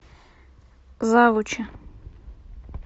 завучи